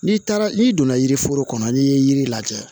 N'i taara n'i donna yiriforo kɔnɔ n'i ye yiri lajɛ